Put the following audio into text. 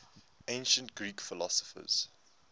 ancient greek philosophers